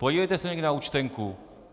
Podívejte se někdy na účtenku.